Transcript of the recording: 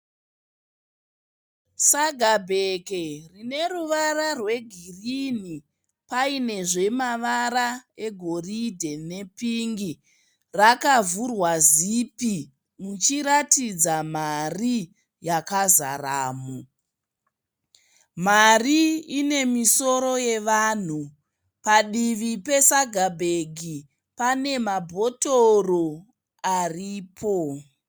Saga bhegi rine ruvara rwe girinhi painezve mavara e goridhe nepingi. Rakavhurwa zipi richiratidza mari yakazaramo. Mari ine misoro yevanhu. Padivi pesaga bhegi pane mabhotoro aripo.